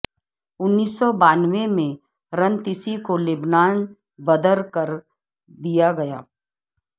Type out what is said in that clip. انیس سو بانوے میں رنتیسی کو لبنان بدر کر دیا گیا